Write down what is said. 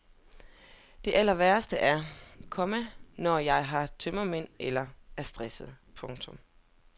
Det allerværste er, komma når jeg har tømmermænd eller er stresset. punktum